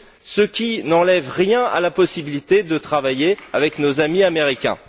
ce qui n'enlève rien à la possibilité de travailler avec nos amis américains.